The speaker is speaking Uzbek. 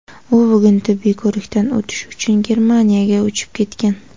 U bugun tibbiy ko‘rikdan o‘tish uchun Germaniyaga uchib ketgan;.